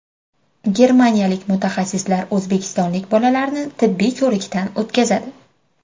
Germaniyalik mutaxassislar o‘zbekistonlik bolalarni tibbiy ko‘rikdan o‘tkazadi.